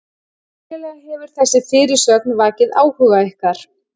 Skiljanlega hefur þessi fyrirsögn vakið áhuga ykkar.